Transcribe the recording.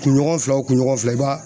Kunɲɔgɔn fila o kuɲɔgɔn fila i ba